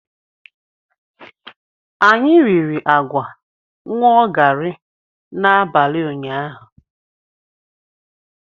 Anyị riri agwa ṅụọ gari n'abalị ụnyahụ.